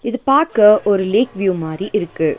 இது பாக்க ஒரு லேக் வியூ மாரி இருக்கு.